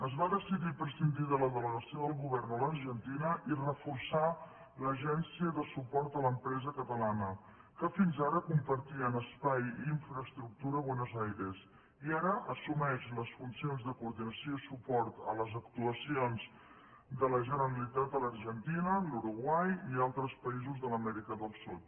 es va decidir prescindir de la delegació del govern a l’argentina i reforçar l’agència de suport a l’empresa catalana que fins ara compartien espai i infraestructura a buenos aires i ara assumeix les funcions de coordinació i suport a les actuacions de la generalitat a l’argentina l’uruguai i a altres països de l’amèrica del sud